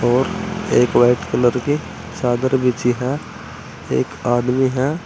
और एक white colour की चादर बिछी है। एक आदमी है।